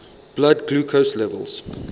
blood glucose levels